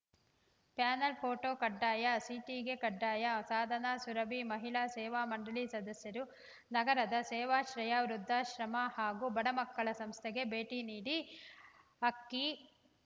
panel photo ಕಡ್ಡಾಯ ಸಿಟಿಗೆ ಕಡ್ಡಾಯ ಸಾಧನ ಸುರಭಿ ಮಹಿಳಾ ಸೇವಾ ಮಂಡಳಿ ಸದಸ್ಯರು ನಗರದ ಸೇವಾಶ್ರಯ ವೃದ್ಧಾಶ್ರಮ ಹಾಗೂ ಬಡ ಮಕ್ಕಳ ಸಂಸ್ಥೆಗೆ ಭೇಟಿ ನೀಡಿ ಅಕ್ಕಿ